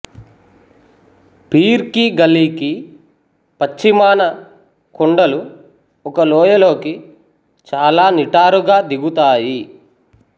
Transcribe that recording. peer కీ గలీకి పశ్చిమాన కొండలు ఒక లోయలోకి చాలా నిటారుగా దిగుతాయి